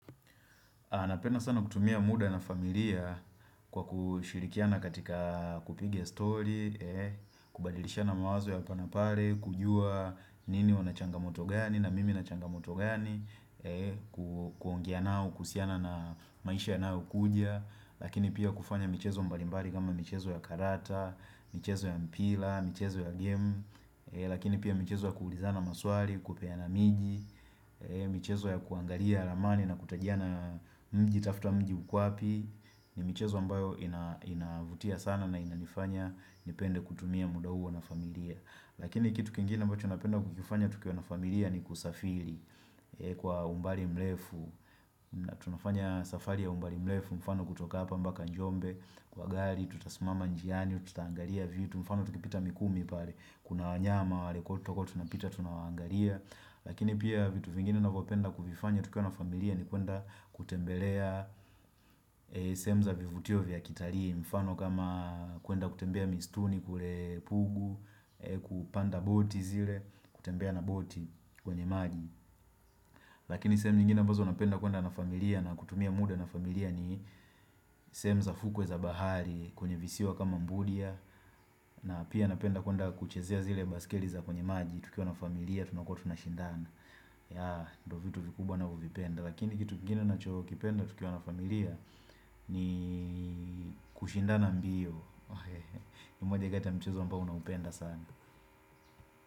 Napenda sana kutumia muda na familia kwa kushirikiana katika kupiga story, kubadilisha mawazo ya hapa na pale, kujua nini una changamoto gani, na mimi nina changamoto gani, kuongea nao, kuhusiana na maisha yanayo kuja. Lakini pia kufanya michezo mbalimbari kama michezo ya karata, michezo ya mpira, michezo ya game Lakini pia michezo ya kuulizana maswali, kupeana miji, michezo ya kuangalia amani na kutajiana mji tafuta mji uko wapi ni michezo ambayo inavutia sana na inanifanya nipende kutumia muda huo na familia Lakini kitu kingine ambacho napenda kukifanya tukiwa na familia ni kusafiri kwa umbali mrefu na tunafanya safari ya umbali mrefu mfano kutoka hapa mpaka jombe kwa gari, tutasimama njiani tutaangalia vitu, mfano tukipita mikumi pale, kuna wanyama, wale koto tunapita, tunawangalia lakini pia vitu vingine ninavopenda kuvifanya tukiwa na familia ni kwenda kutembelea sehemu za vivutio vya kitali mfano kama kwenda kutembea misituni, kule pugu kupanda boat zile kutembea na boat kwenye maji, lakini sehemu nyingine ambazo napenda kuenda na familia na kutumia muda na familia ni sehemu za fukwe za bahari kwenye visiwa kama mbudia na pia napenda kuenda kuchezea zile baiskeli za kwenye maji tukiwa na familia tunakuwa tuna shindana ya ndo vitu vikubwa navyo vipenda Lakini kitu kingine nacho kipenda tukiwa na familia ni kushindana mbio ni moja kati ya mchezo ambao naupenda sana.